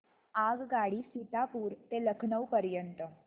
आगगाडी सीतापुर ते लखनौ पर्यंत